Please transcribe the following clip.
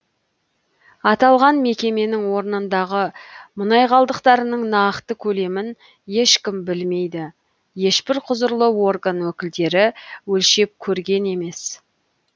аталған мекеменің орнындағы мұнай қалдықтарының нақты көлемін ешкім білмейді ешбір құзырлы орган өкілдері өлшеп көрген емес